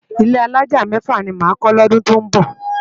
Ilé álájá mèfá ni má kò lòdún tó nbò